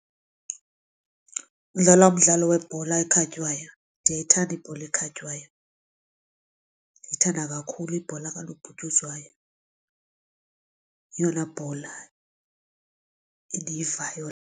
Udlala umdlalo webhola ekhatywayo, ndiyayithanda ibhola ekhatywayo ndiyayithanda kakhulu ibhola kanobhutyuzwayo yeyona bhola endiyivayo.